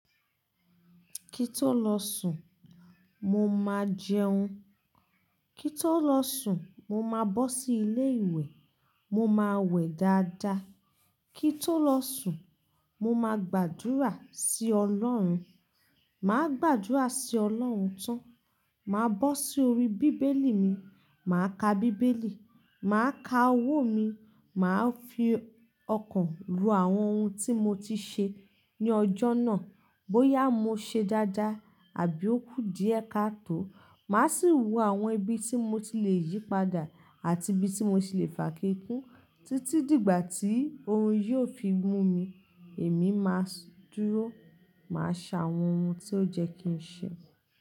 Kí tó lọ sùn mo máa jẹun, kí tó lọ sùn mo máa bọ́ sí ilé ìwẹ̀, mo máa wẹ̀ dáadáa, kí tó lọ sùn mo máa gbàdúrà sí ọlọ́run, màá gbàdúrà sí ọlọ́run tán, màá bọ́ sí orí bíbélì mi, màá ka bíbélì, màá ka owó mi, màá fi ọkàn rò àwọn ohun tí mo ti ṣe ní ọjọ́ náà bóyá mo ṣe dáadáa àbí ó kú díẹ̀ kaató. Màá sì wo àwọn ibi tí mo ti le yípadà àti ibi tí mo ti le fàákekú títí dìgbà tí orun yiò fi mú mi. Èmi máa dúró, màá ṣe àwọn ohun tí ó yẹ́ kí n ṣe.